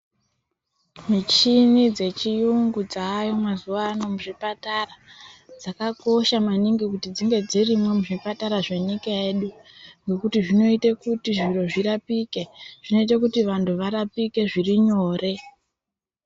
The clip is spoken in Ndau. Michini dzechiyungu dzayo mazuva ano muzvipatara. Dzakakosha mangingi kuti dzinge dzirimo muzvipatara zvenyika yedu. Nekuti zvinoita kuti zviro zvirapike, zvinoita kuti vanhu varapike zvirinyore.